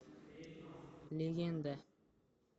легенда